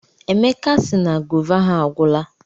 Emeka sị na gova ha agwụla.